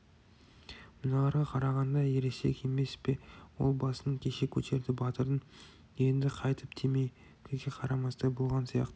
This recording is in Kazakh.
мыналарға қарағанда ересек емес пе ол басын кеше көтерді батырың енді қайтып темекіге қарамастай болған сияқты